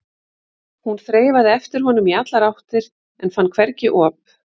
Hún þreifaði eftir honum í allar áttir en fann hvergi op.